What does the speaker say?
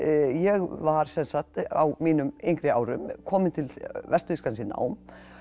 ég var sem sagt á mínum yngri árum komin til Vestur Þýskalands í nám